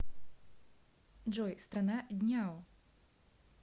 джой страна дняо